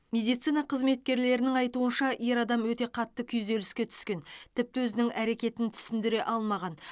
медицина қызметкерлерінің айтуынша ер адам өте қатты күйзеліске түскен тіпті өзінің әрекетін түсіндіре алмаған